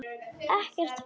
Ekkert fólk.